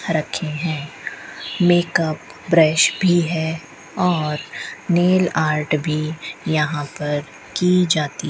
रखे हैं makeup brush भी है और नेल आर्ट भी यहां पर की जाती --